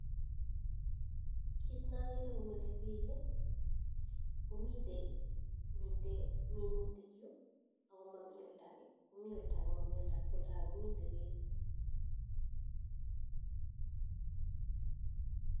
Kiit nee akeree komilee biik komite minutik yuu akomamii oldakee komii oldakee mamii oldakee, oldakee komiite peek